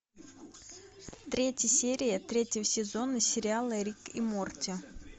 третья серия третьего сезона сериала рик и морти